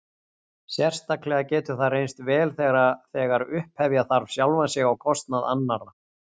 Sérstaklega getur það reynst vel þegar upphefja þarf sjálfan sig á kostnað annarra.